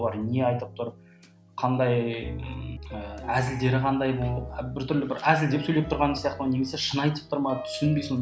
бұлар не айтып тұр қандай ммм ыыы әзілдері қандай бұл біртүрлі бір әзілдеп сөйлеп тұрған сияқты ма немесе шын айтып тұр ма түсінбей соны